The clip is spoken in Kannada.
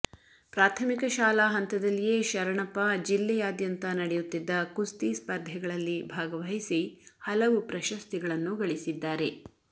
ಪ್ರಾಥಮಿಕ ಶಾಲಾ ಹಂತದಲ್ಲಿಯೇ ಶರಣಪ್ಪ ಜಿಲ್ಲೆಯಾದ್ಯಂತ ನಡೆಯುತ್ತಿದ್ದ ಕುಸ್ತಿ ಸ್ಪರ್ಧೆಗಳಲ್ಲಿ ಭಾಗವಹಿಸಿ ಹಲವು ಪ್ರಶಸ್ತಿಗಳನ್ನು ಗಳಿಸಿದ್ದಾರೆ